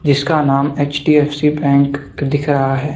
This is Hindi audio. जिसका नाम एच_डी_एफ_सी बैंक दिख रहा है।